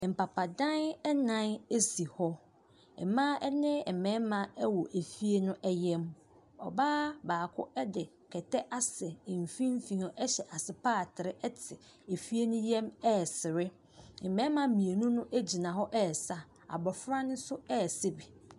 Mpata dan nan esi hɔ mmaa ne mmarima ɛwɔ ɛfie no yam mu ɔbaa baako de kɛtɛ asɛ mfinimfini ɛhyɛ ase paatere te efie no yam ɛresere mmarima mmienu no gyina hɔ ɛresa abɔfra no nso ɛresa bi.